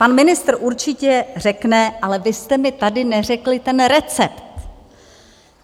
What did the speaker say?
Pan ministr určitě řekne - ale vy jste mi tady neřekli ten recept.